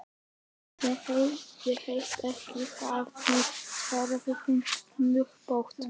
Ég heiti ekki Hafmey, svarar hún snubbótt.